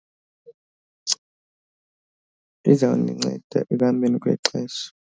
Lizawundinceda ekuhambeni kwexesha.